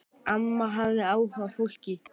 Amma hafði áhuga á fólki.